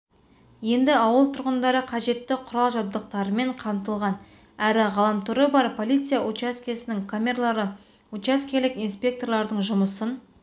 енді ауыл тұрғындары қажетті құрал-жабдықтармен қамтылған әрі ғаламторы бар полиция учаскесінің қызметіне жүгіне алады ғимаратқа орнатылған бақылау камералары учаскелік инспекторлардың жұмысын